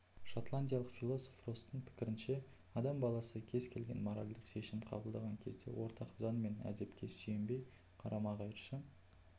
шотландиялық философ росстың пікірінше адам баласы кез келген моральдық шешім қабылдаған кезде ортақ заң мен әдепке сүйенбей қарама-қайшы